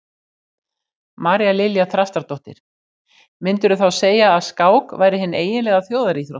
María Lilja Þrastardóttir: Myndirðu þá segja að skák væri hin eiginlega þjóðaríþrótt?